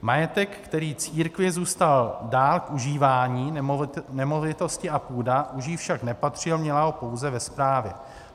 Majetek, který církvi zůstal dál k užívání, nemovitosti a půda, už jí však nepatřil, měla ho pouze ve správě.